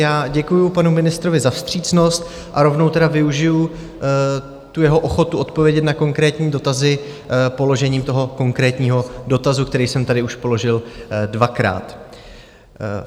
Já děkuju panu ministrovi za vstřícnost a rovnou teda využiji tu jeho ochotu odpovědět na konkrétní dotazy položením toho konkrétního dotazu, který jsem tady už položil dvakrát.